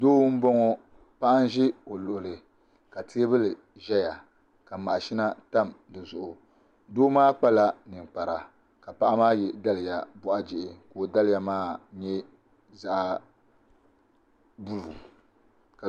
Doo n bɔŋɔ paɣa zi o luɣuli ka tɛɛbuli zɛya ka maɣishina tam di zuɣu doo maa kpala ninkpara ka paɣa maa yiɛ daliya bɔɣi jihi ka o daliya maa nyɛ zaɣi bulu